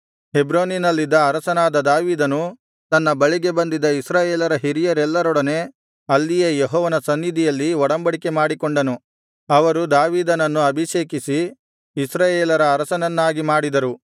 ಹೆಬ್ರೋನಿನಲ್ಲಿದ್ದ ಅರಸನಾದ ದಾವೀದನು ತನ್ನ ಬಳಿಗೆ ಬಂದಿದ್ದ ಇಸ್ರಾಯೇಲರ ಹಿರಿಯರೆಲ್ಲರೊಡನೆ ಅಲ್ಲಿಯೇ ಯೆಹೋವನ ಸನ್ನಿಧಿಯಲ್ಲಿ ಒಡಂಬಡಿಕೆ ಮಾಡಿಕೊಂಡನು ಅವರು ದಾವೀದನನ್ನು ಅಭಿಷೇಕಿಸಿ ಇಸ್ರಾಯೇಲರ ಅರಸನನ್ನಾಗಿ ಮಾಡಿದರು